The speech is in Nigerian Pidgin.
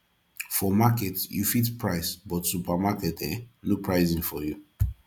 for market yu fit price but for supermarket eh no pricing for yu